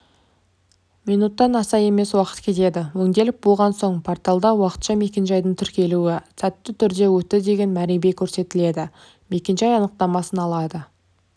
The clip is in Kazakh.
минуттан аса емес уақыт кетеді өңделіп болған соң порталда уақытша мекенжайдың тіркелуі сәтті түрде өтті деген мәребе көрсетіледі мекенжай анықтамасын ала